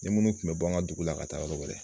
Ni munnu tun bɛ bɔ an ka dugu la ka taa yɔrɔ wɛrɛ.